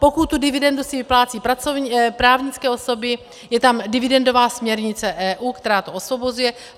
Pokud tu dividendu si vyplácejí právnické osoby, je tam dividendová směrnice EU, která to osvobozuje.